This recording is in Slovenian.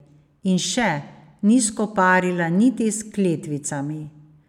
In še, ni skoparila niti s kletvicami.